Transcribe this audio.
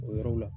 O yɔrɔ la